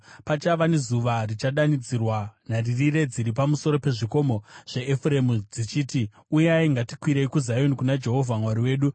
Pachava nezuva richadanidzira nharirire dziri pamusoro pezvikomo zveEfuremu, dzichiti, ‘Uyai, ngatikwidzei kuZioni, kuna Jehovha Mwari wedu.’ ”